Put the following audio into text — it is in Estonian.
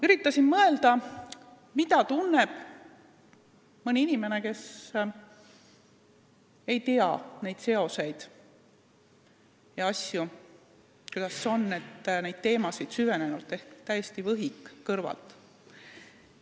Üritasin mõelda, mida tunneb mõni inimene, kes ei tea neid seoseid ja teemasid süvitsi, ehk täiesti võhik kõrvalt.